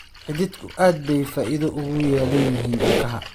Xididgu aad bay faa'iido ugu leeyihiin ilkaha